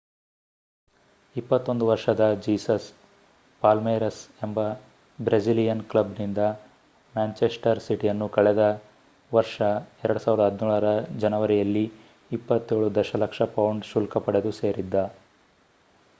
21 ವರ್ಷದ Jesus Palmeiras ಎಂಬ Brazilian ಕ್ಲಬ್ನಿಂದ ಮ್ಯಾನ್ಚೆಸ್ಟರ್ ಸಿಟಿಯನ್ನು ಕಳೆದ ವರ್ಷ 2017ರ ಜನವರಿಯಲ್ಲಿ 27 ದಶಲಕ್ಷ ಪೌಂಡ್ ಶುಲ್ಕ ಪಡೆದು ಸೇರಿದ್ದ